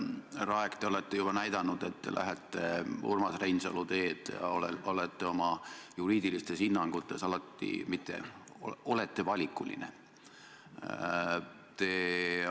Härra Aeg, te olete juba näidanud, et te lähete Urmas Reinsalu teed ja olete oma juriidilistes hinnangutes alati valikuline.